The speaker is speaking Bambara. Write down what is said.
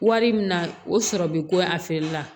Wari min na o sɔrɔ bi ko a feereli la